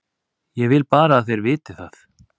Ég vil bara að þeir viti það.